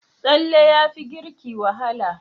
Tsalle yafi girki wahala.